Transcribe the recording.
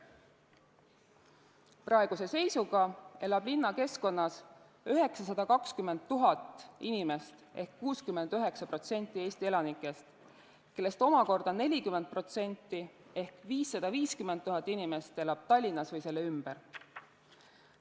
Praeguse seisuga elab linnakeskkonnas 920 000 inimest ehk 69% Eesti elanikest, kellest omakorda 40% ehk 550 000 inimest elab Tallinnas või selle ümber.